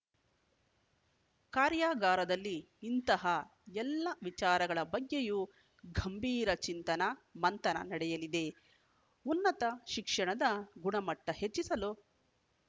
ಕಾರ್ಯಾಗಾರದಲ್ಲಿ ಇಂತಹ ಎಲ್ಲಾ ವಿಚಾರಗಳ ಬಗ್ಗೆಯೂ ಗಂಭೀರ ಚಿಂತನ ಮಂಥನ ನಡೆಯಲಿದೆ ಉನ್ನತ ಶಿಕ್ಷಣದ ಗುಣಮಟ್ಟಹೆಚ್ಚಿಸಲು